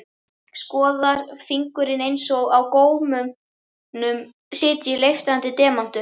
Skoðar fingurinn einsog á gómnum sitji leiftrandi demantur.